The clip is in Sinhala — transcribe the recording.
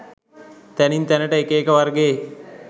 තැනින් තැන‍ට එක එක වර්ගයේ